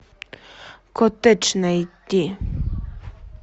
коттедж найти